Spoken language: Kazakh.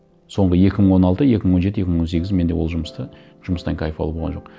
соңғы екі мың он алты екі мың он жеті екі мың он сегіз менде ол жұмыста жұмыстан кайф алу болған жоқ